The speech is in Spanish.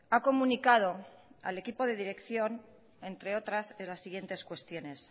ha comunicado al equipo de dirección entre otras las siguientes cuestiones